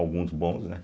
Alguns bons, né?